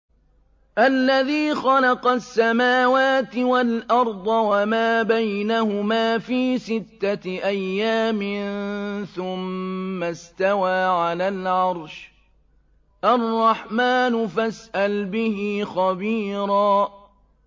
الَّذِي خَلَقَ السَّمَاوَاتِ وَالْأَرْضَ وَمَا بَيْنَهُمَا فِي سِتَّةِ أَيَّامٍ ثُمَّ اسْتَوَىٰ عَلَى الْعَرْشِ ۚ الرَّحْمَٰنُ فَاسْأَلْ بِهِ خَبِيرًا